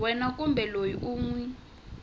wena kumbe loyi u n